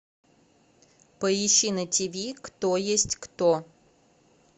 поищи на тв кто есть кто